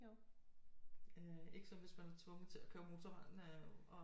Øh ikke så hvis man er tvunget til at køre motorvejen og